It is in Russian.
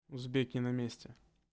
узбеки на месте